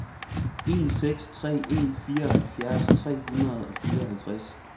en seks tre en fireoghalvfjerds tre hundrede og fireoghalvtreds